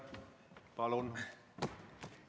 Palun!